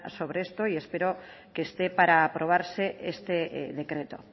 sobre esto y espero que esté para aprobarse este decreto